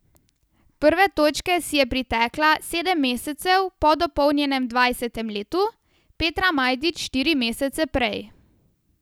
Prve točke si je pritekla sedem mesecev po dopolnjenem dvajsetem letu, Petra Majdič štiri mesece prej.